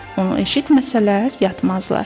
Onu eşitməsələr yatmazlar.